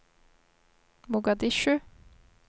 Mogadishu